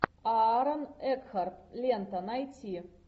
аарон экхарт лента найти